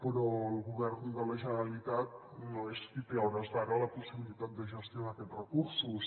però el govern de la generalitat no és qui té a hores d’ara la possibilitat de gestionar aquests recursos